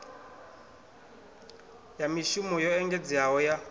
ya mishumo yo engedzeaho ya